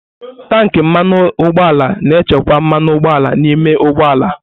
Tanki mmanụ ụgbọala na-echekwa mmanụ ụgbọala n'ime ụgbọ ala.